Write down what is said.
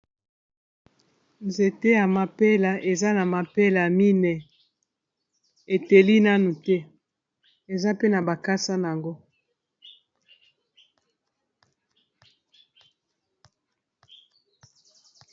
Nzete ya mapela eza na mapela mine eteli nanu te eza pe na bakasa na yango.